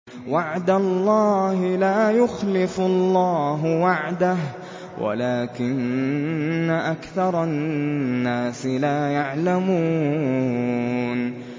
وَعْدَ اللَّهِ ۖ لَا يُخْلِفُ اللَّهُ وَعْدَهُ وَلَٰكِنَّ أَكْثَرَ النَّاسِ لَا يَعْلَمُونَ